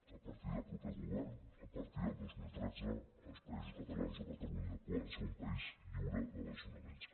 a partir del proper govern a partir del dos mil tretze els països catalans o catalunya poden ser un país lliure de desnonaments